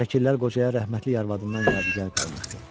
Şəkillər qocaya rəhmətlik arvadından yadigar qalmışdı.